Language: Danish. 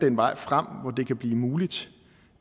en vej frem hvor det kan blive muligt